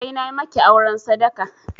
Sai na maki auren sadaka!